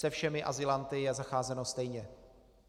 Se všemi azylanty je zacházeno stejně.